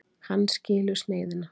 Hann skilur sneiðina.